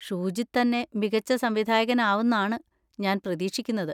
ഷൂജിത് തന്നെ മികച്ച സംവിധായകൻ ആവുംന്നാണ് ഞാൻ പ്രതീക്ഷിക്കുന്നത്.